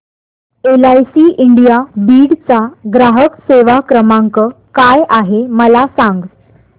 LIC India Beed चा ग्राहक सेवा क्रमांक काय आहे मला सांग